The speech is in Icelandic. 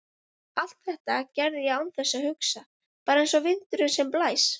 Allt þetta gerði ég án þess að hugsa, bara einsog vindurinn sem blæs.